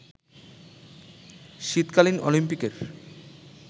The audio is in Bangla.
শীতকালীন অলিম্পিকের